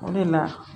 O de la